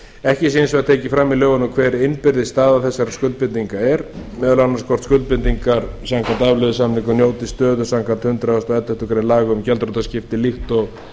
ekki sé hins vegar tekið fram í lögunum hver innbyrðis staða þessara skuldbindinga er meðal annars hvort skuldbindingar samkvæmt afleiðusamningum njóti stöðu samkvæmt hundrað og elleftu grein laga um gjaldþrotaskipti líkt og